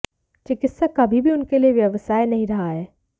चिकित्सा कभी भी उनके लिए व्यवसाय नहीं रहा है